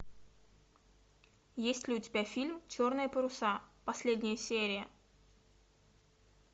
есть ли у тебя фильм черные паруса последняя серия